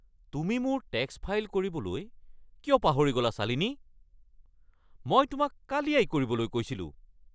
তুমি মোৰ tax file কৰিবলৈ কিয় পাহৰি গ'লা, শ্বালিনী? মই তোমাক কালিয়েই কৰিবলৈ কৈছিলোঁ।